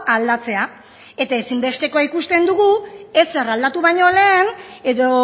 aldatzea eta ezinbestekoa ikusten dugu ezer aldatu baino lehen edo